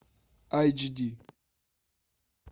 айч ди